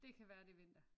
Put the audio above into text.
Det kan være det er vinter!